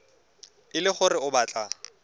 e le gore o batla